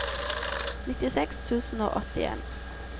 nittiseks tusen og åttien